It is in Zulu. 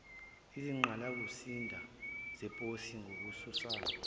izinqgalasizinda zeposi ngokususa